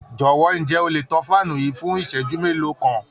Jowo, ǹjẹ́ o le tan fáànù yìí fún ìṣẹ́jú mélòó kan?